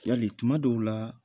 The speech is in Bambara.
Yali tuma dɔw la